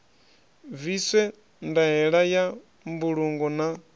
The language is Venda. bviswe ndaela ya mbulungo na